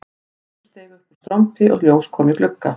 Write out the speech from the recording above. Reykur steig upp úr strompi og ljós kom í glugga